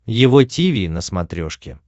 его тиви на смотрешке